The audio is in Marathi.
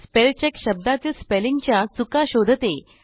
स्पेलचेक हे शब्दातील स्पेलिंगच्या चुका शोधते